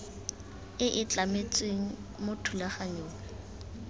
e e tlametsweng mo thulaganyong